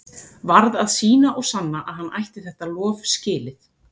Varð að sýna og sanna að hann ætti þetta lof skilið.